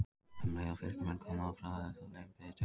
Um leið og Fylkismenn komust á bragðið þá leið þeim betur.